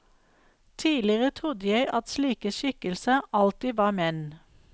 Tidligere trodde jeg at slike skikkelser alltid var menn.